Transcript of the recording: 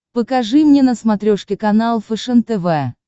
покажи мне на смотрешке канал фэшен тв